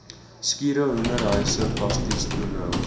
skure hoenderhuise plastiektonnels